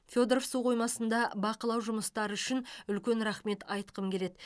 федоров су қоймасында бақылау жұмыстары үшін үлкен рахмет айтқым келеді